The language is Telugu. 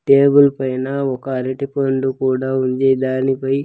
టేబల్ పైన ఒక అరటి పండు కూడా ఉంది దాని పై.